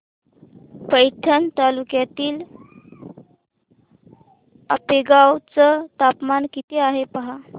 पैठण तालुक्यातील आपेगाव चं तापमान किती आहे पहा